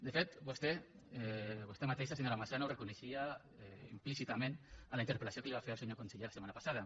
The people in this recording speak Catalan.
de fet vostè vostè mateixa senyora massana ho reconeixia implícitament en la interpel·lació que li va fer al senyor conseller la setmana passada